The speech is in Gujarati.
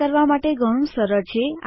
આ કરવા માટે ઘણું સરળ છે